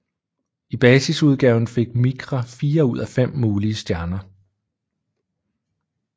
I basisudgaven fik Micra fire ud af fem mulige stjerner